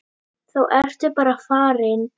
Þá ertu bara farin.